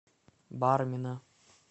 бармина